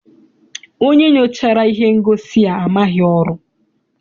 Onye nyochara ihe ngosi a maghị ọrụ.